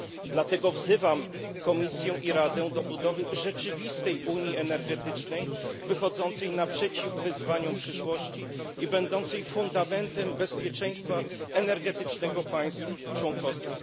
Dlatego wzywam Komisję i Radę do budowy rzeczywistej unii energetycznej wychodzącej naprzeciw wyzwaniom przyszłości i będącej fundamentem bezpieczeństwa energetycznego państw członkowskich.